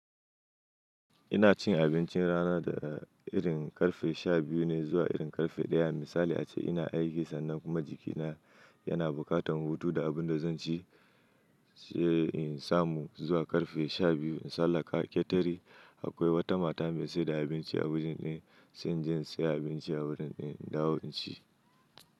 Ina cin abincin rana daga irin ƙarfe sha biyu ne zuwa irin ƙarfe ɗaya. Misali ace, ina aiki sannan kuma jikina yana buƙatar hutu da abun da zan ci, sai in samu zuwa ƙarfe sha biyu in sallaka ketare. Akwai wata mata mai saida abinci a wajen ɗin, sai jinyi saya abinci a wurin ɗin, dawo in ci.